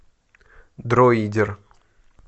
дроидер